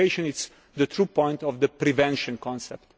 Integration is the true point of the prevention concept.